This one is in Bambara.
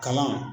Kalan